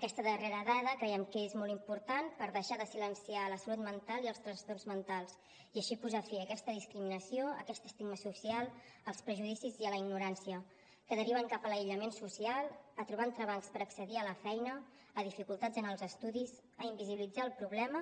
aquesta darrera dada creiem que és molt important per deixar de silenciar la salut mental i els trastorns mentals i així posar fi a aquesta discriminació a aquest estigma social als prejudicis i a la ignorància que deriven cap a l’aïllament social a trobar entrebancs per accedir a la feina a dificultats en els estudis a invisibilitzar el problema